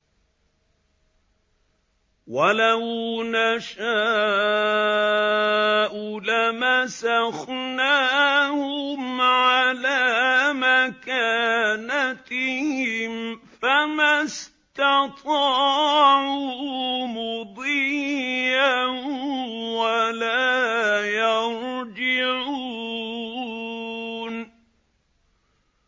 وَلَوْ نَشَاءُ لَمَسَخْنَاهُمْ عَلَىٰ مَكَانَتِهِمْ فَمَا اسْتَطَاعُوا مُضِيًّا وَلَا يَرْجِعُونَ